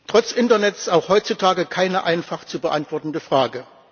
Trotz Internet auch heutzutage keine einfach zu beantwortende Frage.